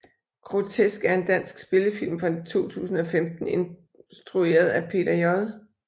Grotesk er en dansk spillefilm fra 2015 instrueret af Peter J